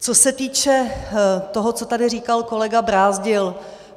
Co se týče toho, co tady říkal kolega Brázdil.